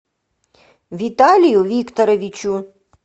виталию викторовичу